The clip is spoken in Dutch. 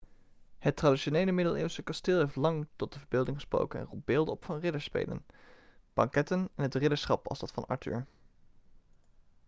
het traditionele middeleeuwse kasteel heeft lang tot de verbeelding gesproken en roept beelden op van ridderspelen banketten en het ridderschap als dat van arthur